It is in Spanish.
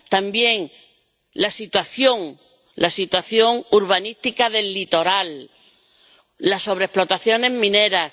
también la situación urbanística del litoral y las sobreexplotaciones mineras.